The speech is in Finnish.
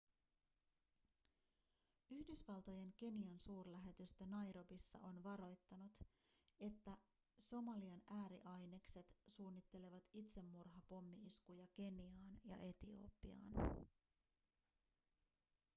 yhdysvaltojen kenian-suurlähetystö nairobissa on varoittanut että somalian ääriainekset suunnittelevat itsemurhapommi-iskuja keniaan ja etiopiaan